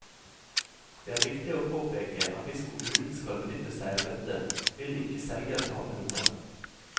Det er viktig å påpeke at hvis kommunen skal benytte seg av dette, vil ikke selger tape noe.